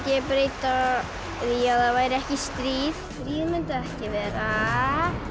ég breyta því að það væri ekki stríð ég mundi ekki vera